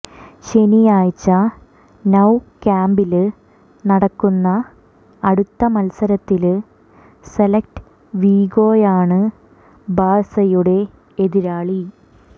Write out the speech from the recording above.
ശനിയാഴ്ച നൌ കാമ്പില് നടക്കുന്ന അടുത്ത മത്സരത്തില് സെല്റ്റ വിഗോയാണ് ബാഴ്സയുടെ എതിരാളി